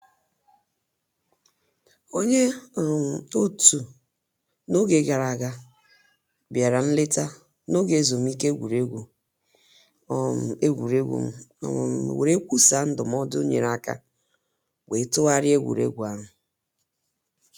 Onye um otu na oge gara aga bịara nleta na oge ezumike egwuregwu, um egwuregwu, um were kwusaa ndụmọdụ nyere aka were tụgharịa egwuregwu ahụ